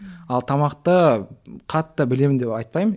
ал тамақты қатты білемін деп айтпаймын